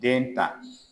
Den ta